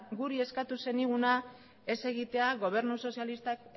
guri eskatu zeniguna ez egitea gobernu sozialistak